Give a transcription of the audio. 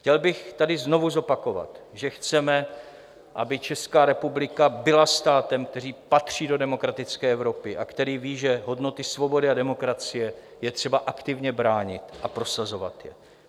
Chtěl bych tady znovu zopakovat, že chceme, aby Česká republika byla státem, který patří do demokratické Evropy a který ví, že hodnoty svobody a demokracie je třeba aktivně bránit a prosazovat je.